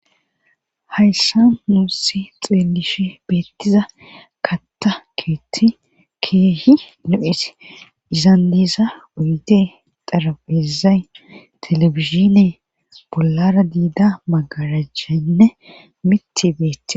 Hayssa nuusi xeelishe beettiza katta keeti keehi nu7et izan diisa uyde xarapezay telebizine bollara diida magarajcjhanne miti beetti